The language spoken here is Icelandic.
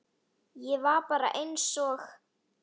Ég var bara einsog